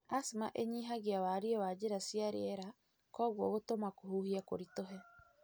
Asthma ĩnyihagia warie wa njĩra cia rĩera kogwuo gũtũma kũhuhia kũritũha.